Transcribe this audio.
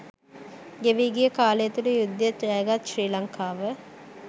ගෙවී ගිය කාලය තුළ යුද්ධය ජයගත් ශ්‍රී ලංකාව